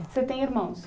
Você tem irmãos?